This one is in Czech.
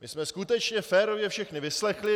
My jsme skutečně férově všechny vyslechli.